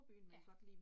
Ja